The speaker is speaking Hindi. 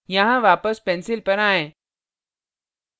यहाँ वापस pencil पर आयें